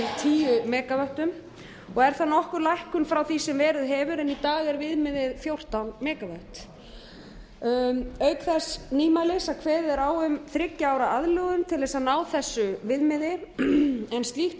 bil tíu megavöttum er það nokkur lækkun frá því sem verið hefur en í dag er viðmiðið fjórtán megavött auk þessa nýmælis er kveðið á um þriggja ára aðlögun til að ná þessu viðmiði en slíkt